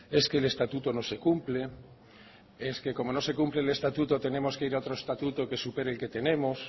es que el estatuto no se cumple es que como no se cumple el estatuto tenemos que ir a otro estatuto que supere el que tenemos